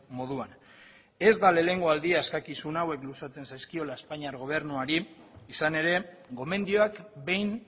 moduan ez da lehenengo aldia eskakizun hauek luzatzen zaizkiola espainiar gobernuari izan ere gomendioak behin